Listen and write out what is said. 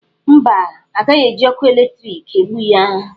Mba, a gaghị eji ọkụ eletriki egbu ya.